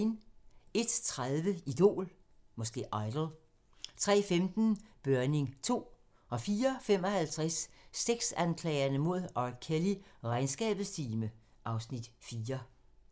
01:30: Idol 03:15: Børning 2 04:55: Sexanklagerne mod R. Kelly: Regnskabets time (Afs. 4)